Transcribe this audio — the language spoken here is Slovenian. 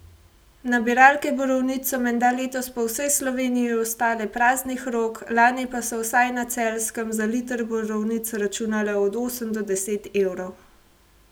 Nabiralke borovnic so menda letos po vsej Sloveniji ostale praznih rok, lani pa so, vsaj na Celjskem, za liter borovnic računale od osem do deset evrov.